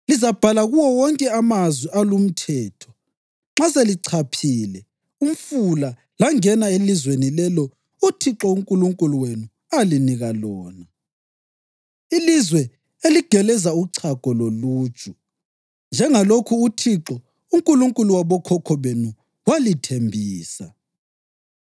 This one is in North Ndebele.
Lizabhala kuwo wonke amazwi alumthetho nxa selichaphile umfula langena elizweni lelo uThixo uNkulunkulu wenu alinika lona, ilizwe eligeleza uchago loluju, njengalokhu uThixo, uNkulunkulu wabokhokho benu walithembisa.